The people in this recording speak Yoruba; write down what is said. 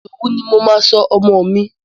Ìdòwú ni mo máa sọ ọmọ mi.